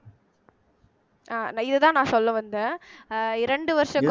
அஹ் நான் இதுதான் நான் சொல்ல வந்தேன் அஹ் இரண்டு வருஷ